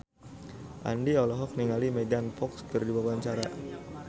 Andien olohok ningali Megan Fox keur diwawancara